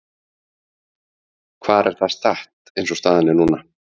Hvar er það statt eins og staðan er núna?